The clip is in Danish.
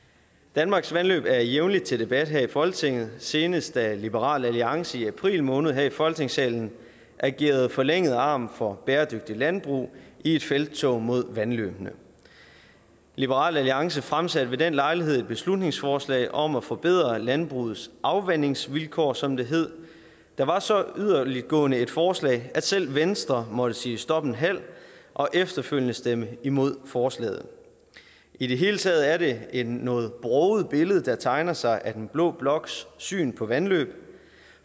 danmarks vandløb er jævnlig til debat her i folketinget senest da liberal alliance i april måned her i folketingssalen agerede forlænget arm for bæredygtigt landbrug i et felttog mod vandløbene liberal alliance fremsatte ved den lejlighed et beslutningsforslag om at forbedre landbrugets afvandingsvilkår som det hed det var så yderligtgående et forslag at selv venstre måtte sige stop en halv og efterfølgende stemme imod forslaget i det hele taget er det et noget broget billede der tegner sig af den blå bloks syn på vandløb